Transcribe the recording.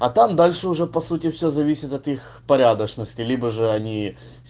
а там дальше уже по сути все зависит от их порядочности либо же они